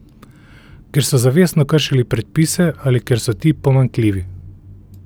Ker so zavestno kršili predpise ali ker so ti pomanjkljivi.